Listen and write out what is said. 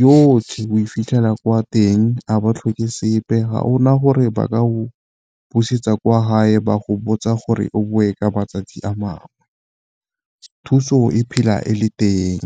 yotlhe o e fitlhela kwa teng, a ba tlhoke sepe ga ona gore ba ka go busetsa kwa hae ba go botsa gore o bone ka matsatsi a mangwe. Thuso e phela e le teng.